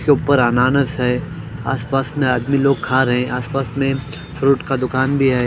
के ऊपर अनानास है आस पास में आदमी लोग खा रहे आस पास में फ्रूट का दुकान भी है।